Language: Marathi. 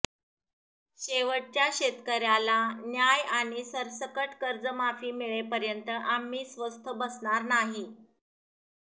शेवटच्या शेतकऱ्याला न्याय आणि सरसकट कर्जमाफी मिळेपर्यंत आम्ही स्वस्थ बसणार नाही